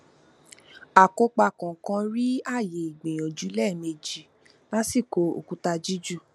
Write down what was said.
akópa kọọkan rí ààyè ìgbìyànjú lẹẹmejì lásìkò òkúta jíjù